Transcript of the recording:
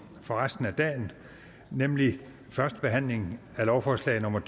for resten af dagen nemlig første behandling af lovforslag nummer